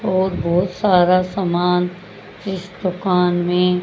और बोहोत सारा सामान इस दुकान में--